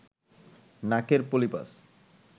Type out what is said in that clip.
নাকের পলিপাস